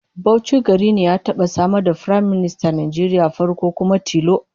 Bauchi gari ne ya taba samar da Firaministan Najeriya na farko kuma tilo